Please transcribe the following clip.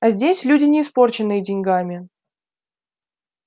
а здесь люди не испорченные деньгами